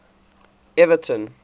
everton